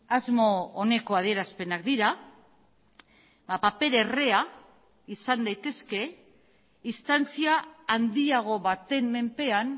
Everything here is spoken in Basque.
asmo oneko adierazpenak dira paper errea izan daitezke instantzia handiago baten menpean